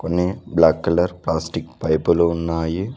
కొన్ని black colour plastic పైపులు ఉన్నాయి.